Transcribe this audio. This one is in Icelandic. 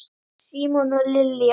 Símon og Lilja.